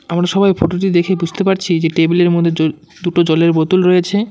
আমরা সবাই ফোটোটি দেখে বুঝতে পারছি যে টেবিলের মধ্যে জ দুটো জলের বোতল রয়েছে।